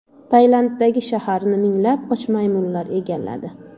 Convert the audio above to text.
Tailanddagi shaharni minglab och maymunlar egalladi .